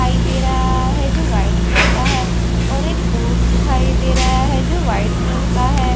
दिखाई दे रहा है जो वाइट कलर का है और एक बोर्ड दिखाई दे रहा है जो वाइट कलर काहै।